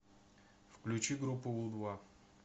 включи группу у два